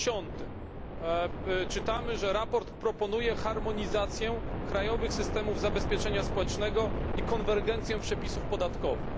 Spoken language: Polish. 10 czytamy, że sprawozdanie proponuje harmonizację krajowych systemów zabezpieczenia społecznego i konwergencję przepisów podatkowych.